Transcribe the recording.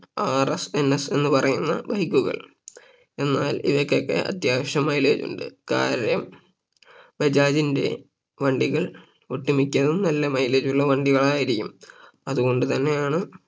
RSNS എന്ന് പറയുന്ന Bike കൾ എന്നാൽ ഇവയ്ക്കൊക്കെ അത്യാവശ്യം Mileage ഉണ്ട് കാര്യം ബജാജിന്റെ വണ്ടികൾ ഒട്ടുമിക്കതും നല്ല mileage ഉള്ള വണ്ടികൾ ആയിരിക്കും അതുകൊണ്ട് തന്നെയാണ്